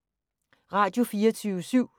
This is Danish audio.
Radio24syv